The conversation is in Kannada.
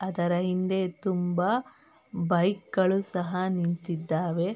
ಅದರ ಹಿಂದೆ ತುಂಬ ಬೈಕ್ ಗಳು ಸಹ ನಿಂತಿದ್ದಾವೆ.